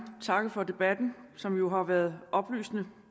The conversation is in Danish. takke for debatten som jo har været oplysende